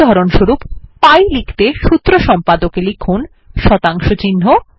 উদাহরণস্বরূপ পাই লিখতে সূত্র সম্পাদকে লিখুন160pi